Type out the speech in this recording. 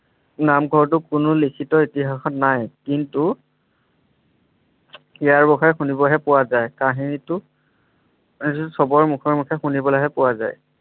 নামঘৰটো কোনো লিখিত ইতিহাসত নাই কিন্তু ইয়াৰ বিষয়ে শুনিবহে পোৱা যায় কাহিনীটো চবৰ মুখে মুখে শুনিবলৈহে পোৱা যায়।